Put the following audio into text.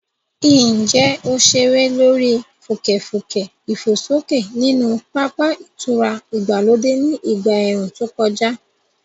Ǹjẹ́ o ṣeré lórí fùkẹ̀fùkẹ̀ ìfòsókè nínú pápá ìtura ìgbàlódé ní ìgbà ẹ̀ẹ̀rùn tó kọjá?